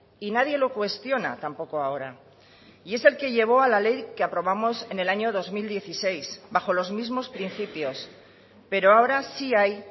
y nadie lo cuestiona tampoco ahora y es el que llevó a la ley que aprobamos en el año dos mil dieciséis bajo los mismos principios pero ahora sí hay